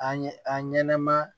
A ɲɛ a ɲɛnɛma